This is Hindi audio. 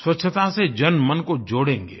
स्वच्छता से जनमन को जोड़ेंगे